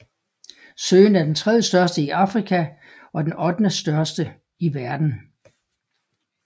Søen er den tredjestørste i Afrika og den ottendestørste i verden